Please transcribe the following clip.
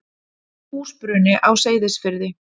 Húsbruni á Seyðisfirði.